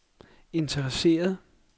interesseret